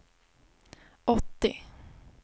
åttio